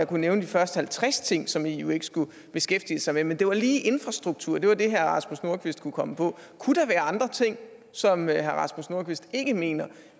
kunne nævne de første halvtreds ting som eu ikke skulle beskæftige sig med men det var lige det med infrastrukturen herre rasmus nordqvist kunne komme på kunne der være andre ting som herre rasmus nordqvist ikke mener